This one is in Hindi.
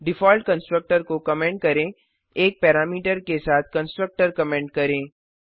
डिफॉल्ट कंस्ट्रक्टर को कमेंट करें 1 पैरामीटर के साथ कंस्ट्रक्टर कमेंट करें